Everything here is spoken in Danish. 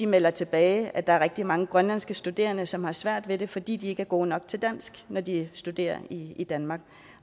melder tilbage at der er rigtig mange grønlandske studerende som har svært ved det fordi de ikke er gode nok til dansk når de studerer i i danmark